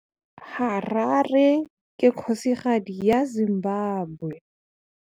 Harare ke kgosigadi ya Zimbabwe.